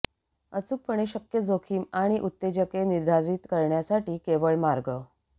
अचूकपणे शक्य जोखीम आणि उत्तेजके निर्धारित करण्यासाठी केवळ मार्ग